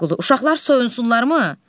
Şaqqulu, uşaqlar soyunsunlarmı?